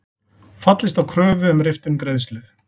Fallist á kröfu um riftun greiðslu